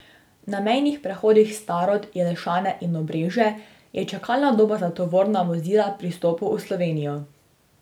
Na mejnih prehodih Starod, Jelšane in Obrežje je čakalna doba za tovorna vozila pri vstopu v Slovenijo.